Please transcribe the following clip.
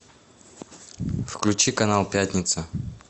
включи канал пятница